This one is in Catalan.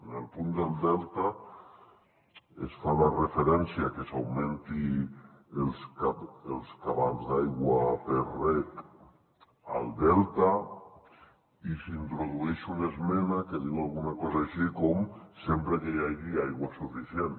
en el punt del delta es fa la referència a que s’augmentin els cabals d’aigua per a reg al delta i s’introdueix una esmena que diu alguna cosa així com sempre que hi hagi aigua suficient